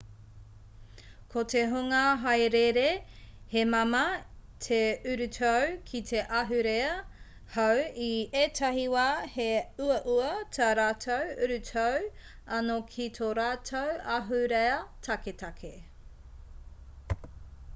ko te hunga hāereere he māmā te urutau ki te ahurea hou i ētahi wā he uaua tā rātou urutau anō ki tō rātou ahurea taketake